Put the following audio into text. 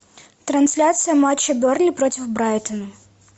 трансляция матча бернли против брайтона